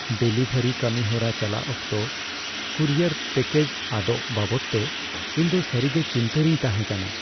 Delivery ᱠᱟᱹᱢᱤᱦᱚᱨᱟ ᱪᱟᱞᱟᱜ ᱚᱠᱛᱚ ᱠᱩᱨᱤᱭᱟᱨ ᱯᱮᱹᱠᱮᱡ ᱟᱫᱚᱜ ᱵᱟᱵᱚᱫᱛᱮ ᱤᱧᱫᱚ ᱥᱟᱹᱨᱤᱜᱮ ᱪᱤᱱᱛᱟᱹ ᱨᱤᱧ ᱛᱟᱦᱮᱸ ᱠᱟᱱᱟ ᱾